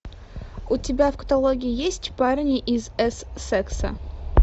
у тебя в каталоге есть парни из эссекса